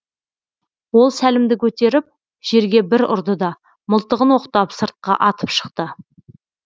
ол сәлімді көтеріп жерге бір ұрды да мылтығын оқтап сыртқа атып шықты